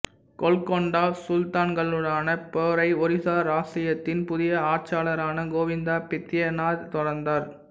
கோல்கொண்டா சுல்தான்களுடனான போரை ஒரிசா இராச்சியத்தின் புதிய ஆட்சியாளரான கோவிந்தா பித்யாதர் தொடர்ந்தார்